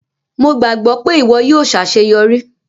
Mo gbagbọ pe iwọ yóò ṣaṣeyọri.